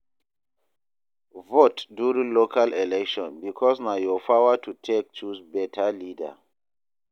Vote during local election bikos na yur power to take choose beta leader